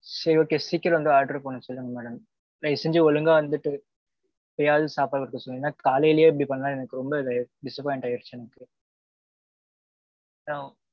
சேரி okay. சீக்கிரம் வந்து order பண்ண சொல்லுங்க madam. தயவு செஞ்சு ஒழுங்கா வந்திட்டு. இப்பயாவது சாப்பாடு குடுக்க சொன்னீங்கன்னா, காலையிலேயே இப்பிடி பண்ணா எனக்கு ரொம்ப ஆயிருச்சு, disappoint ஆயிருச்சு. எனக்கு